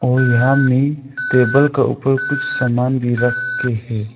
और यहां में टेबल का ऊपर कुछ सामान रखके है।